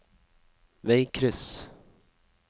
veikryss